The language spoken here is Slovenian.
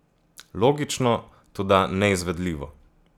Logično, toda neizvedljivo.